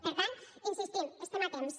per tant hi insistim hi estem a temps